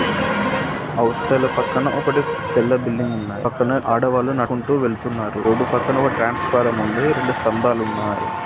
అవతల పక్కన ఒకటి తెల్ల బిల్డింగ్ ఉన్నాయి పక్కన ఆడవాళ్ళు నడుచుకుంటూ వెళ్తున్నారు రోడ్డు పక్కన ఒక ట్రాన్సఫరామ్ ఉంది రెండు స్థంబలు ఉన్నాయి.